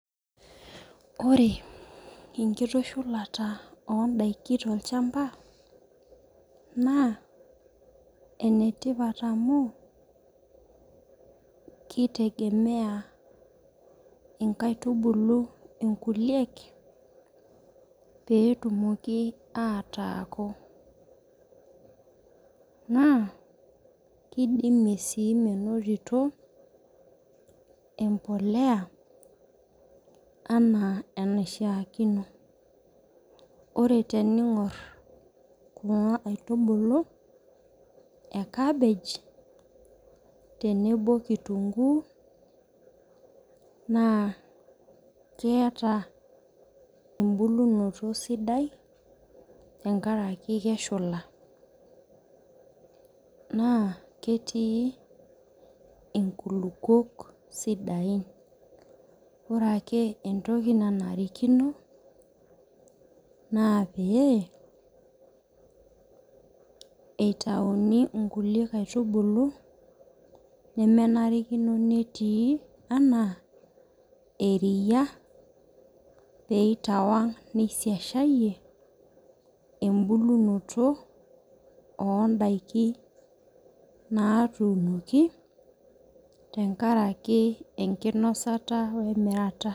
Ore enkitushulata odaiki tolchamba naa, enetipat amu, kitengemeea inkaitubulu inkulie peetumoki ataaku. Naa kidimie sii menotito embolea enaa enaishiakino. Ore teningor kuna aitubulu eh cabbage tenebo kitunguu naa keeta ebulunoto sidai tenkaraki keshula. Naa ketii inkulupuok sidain. Ore ake etoki nanarikino naa pee eitayuni kulie kaitubulu nemenarikino netii enaa eriyia, pee itawang nisiasiayie ebulunoto odaiki natunoki tenkaraki ekinosata wemirata.